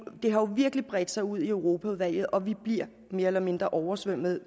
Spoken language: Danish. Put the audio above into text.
det har jo virkelig bredt sig ud i europaudvalget og vi bliver mere eller mindre oversvømmet